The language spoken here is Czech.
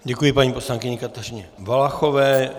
Děkuji paní poslankyni Kateřině Valachové.